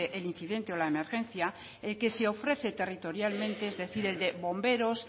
el incidente o la emergencia el que se ofrece territorialmente es decir el de bomberos